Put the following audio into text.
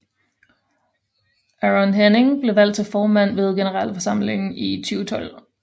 Aron Henning blev valgt til formand ved generalforsamlingen i 2012